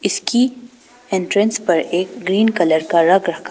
इसकी एंट्रेंस पर एक ग्रीन कलर का रग रखा--